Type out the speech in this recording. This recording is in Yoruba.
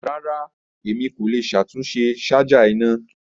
Rara, Emi ko le ṣatunṣe ṣaja ina.